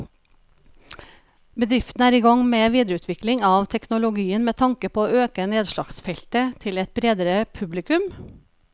Bedriften er i gang med videreutvikling av teknologien med tanke på å øke nedslagsfeltet til et bredere publikum.